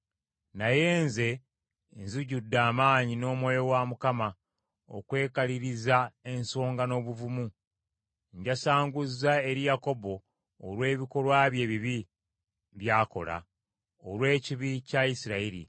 Naye nze, nzijjudde amaanyi n’Omwoyo wa Mukama , okwekaliriza ensonga n’obuvumu, njasanguze eri Yakobo olw’ebikolwa bye ebibi by’akola, olw’ekibi kya Isirayiri.